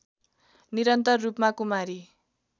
निरन्तर रूपमा कुमारी